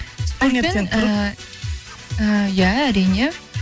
спортпен ііі иә әрине